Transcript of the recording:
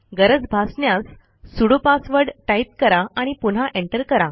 गरज भासण्यास sudo password type करा आणि पुन्हा एंटर करा